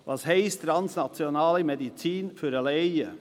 Was heisst «translationale Medizin» für den Laien?